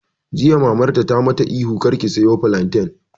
Jiya Mamarta ta mata ihu 'Kar ki soya filantan'!